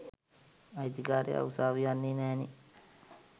අයිතිකාරයා උසාවි යන්නෙ නෑනේ.